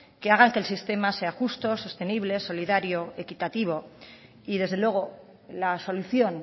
que hagan que el sistema sea justo sostenible solidario equitativo y desde luego la solución